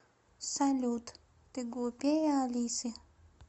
салют ты глупее алисы